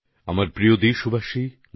নতুনদিল্লি ২৮শে ফেব্রুয়ারি ২০২১